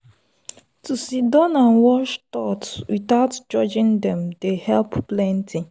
to siddon and watch thought without judging dem dey help plenty.